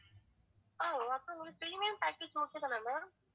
ஆஹ் அப்ப உங்களுக்கு premium package okay தானே ma'am